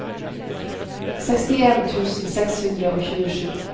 sekstien tusen seks hundre og tjuesju